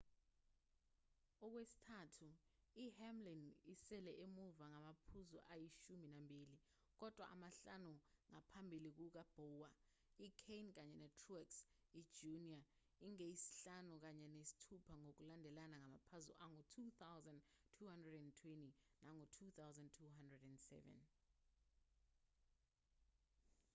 okwesithathu i-hamlin isele emuva ngamaphuzu ayishumi nambili kodwa amahlanu ngaphambi kuka-bowyer i-kahne kanye ne-truex i-jr ingeyesihlanu kanye nesithupha ngokulandelana ngamaphuzu angu-2,220 nangu-2,207